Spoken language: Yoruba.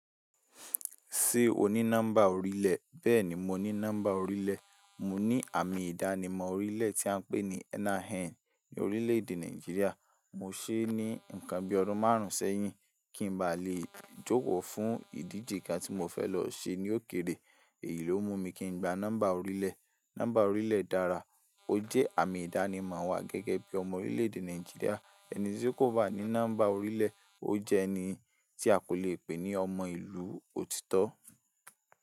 Ṣé o ní nọ́mbà orílẹ̀? Bẹ́ẹ̀ni, mo ní nọ́mbà orílẹ̀. Mo ní àmì ìdánimọ̀ orílẹ̀ tí à ń pè ní NIN ní orílẹ̀ èdè Nàìjíríà. Mo ṣé ní ǹkan bí ọdún márùn-ún sẹ́yìn kí n ba le jókòó fún ìdíje kan tí mo fẹ́ lọ ṣe ní òkèrè. Èyí ló mú mi kí n gba nọ́mbà orílẹ̀. Nọ́mbà orílẹ̀ dára, ó jẹ́ àmì ìdánimọ̀ wa gẹ́gẹ́ bí ọmọ orílẹ̀ èdè Nàìjíríà. Ẹni tí kò bá ní nọ́mbà orílẹ̀, ó jẹ́ ẹni tí a kò le pè ní ọmọ ìlú òtítọ́.